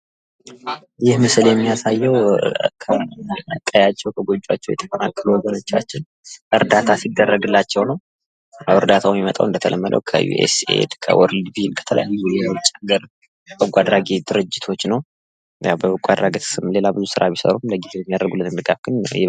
ይህ ምስል የሚያሳየው ከቀያቸው ከጎጇቸው የተፈናቀሉ ወገኖቻችን እርዳታ ሲደረግላቸው ነው ። እርዳታው የሚመጣው እንደተለመደው ከዩኤሳይድ፣ ከዎርልድ፣ ባንክ ከተለያዩ የዉጭ ሀገር በጎ አድራጊ ድርጅቶች ነው። በበጎ አድራጎት ስም ሌላ ብዙ ስራ ቢሰሩም ለጊዜው የሚያደርጉልን ድጋፍ ግን ይህ ነው።